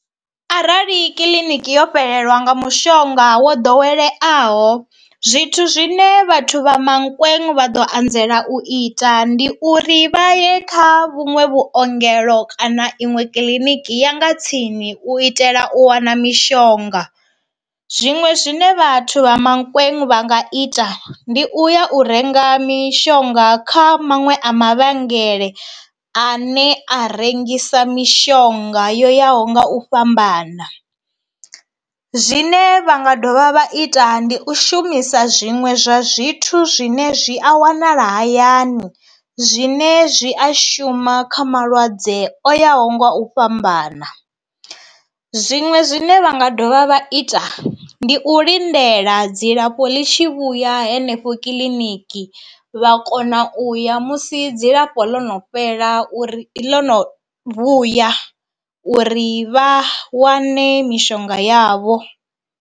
Arali kiḽiniki yo fhelelwa nga mushonga wo ḓoweleaho, zwithu zwine vhathu vha Mankweng vha ḓo anzela u ita ndi uri vha ye kha vhunwe vhuongelo kana iṅwe kiḽiniki ya nga tsini u itela u u wana mishonga. Zwiṅwe zwine vhathu vha Mankweng vha nga ita ndi u ya u renga mishonga kha maṅwe a mavhengele a ne a rengisa mishonga yo yaho nga u fhambana, zwine vha nga dovha vha ita ndi u shumisa zwiṅwe zwa zwithu zwine zwi a wanala hayani zwine zwi a shuma kha malwadze o yaho nga u fhambana. Zwiṅwe zwine vha nga dovha vha ita ndi u lindela dzilafho ḽi tshi vhuya henefho kiḽiniki vha kona u ya musi dzilafho ḽo no fhela uri ḽo no vhuya uri vha wane mishonga yavho.